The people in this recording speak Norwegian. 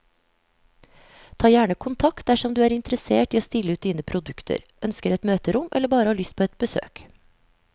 Ta gjerne kontakt dersom du er interessert i å stille ut dine produkter, ønsker et møterom eller bare har lyst på et besøk.